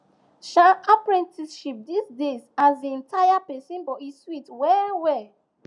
um apprenticeship days um tire person but e sweet well well